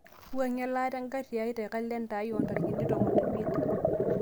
wuangie elaata engari aai te kalenda aai oo ntarikini tomon o imiet